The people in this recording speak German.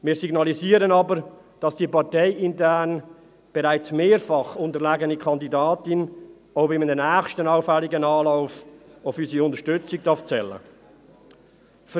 Wir signalisieren aber, dass die parteiintern bereits mehrfach unterlegene Kandidatin auch bei einem nächsten allfälligen Anlauf auf unsere Unterstützung zählen darf.